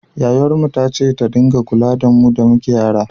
Yayarmu ce ta dinga kula da mu da muke yara